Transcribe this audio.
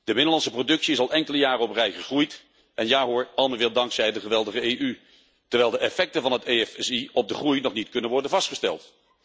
De binnenlandse productie is al enkele jaren op rij gegroeid en ja hoor, allemaal weer dankzij de geweldige EU, terwijl de effecten van het EFSI op de groei nog niet kunnen worden vastgesteld.